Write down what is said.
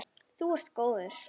Þú ert góður.